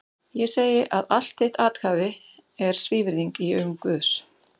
Ég segi að allt þitt athæfi er svívirðing í augum Guðs!